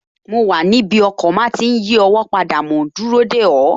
Mo wà níbi ọkọ̀ máa tí n yí ọwọ́ padà mòún dúró dè ọ́